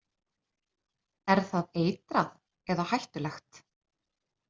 Er það eitrað eða hættulegt?